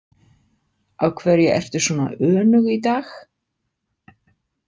Af hverju ertu svona önug í dag?